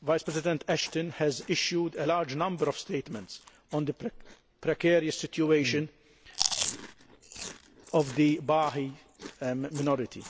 Vice President High Representative Ashton has issued a large number of statements on the precarious situation of the Baha'i minority.